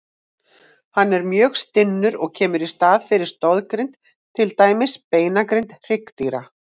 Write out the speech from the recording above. Hann er mjög stinnur og kemur í staðinn fyrir stoðgrind, til dæmis beinagrind hryggdýra.